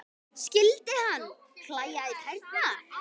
Skyldi hana klæja í tærnar?